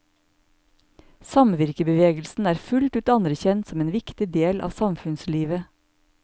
Samvirkebevegelsen er fullt ut anerkjent som en viktig del av samfunnslivet.